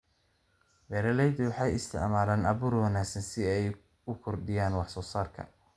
Beeraleydu waxay isticmaalaan abuur wanaagsan si ay u kordhiyaan wax-soo-saarka.